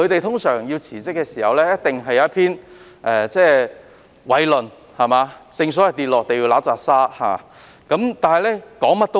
他們辭職時通常一定有一篇偉論，正所謂"跌落地揦番拃沙"。